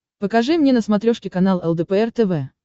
покажи мне на смотрешке канал лдпр тв